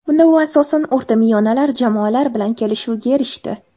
Bunda u asosan o‘rtamiyonalar jamoalar bilan kelishuvga erishdi.